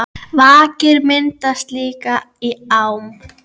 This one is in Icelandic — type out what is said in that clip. Vakir myndast líka í ám.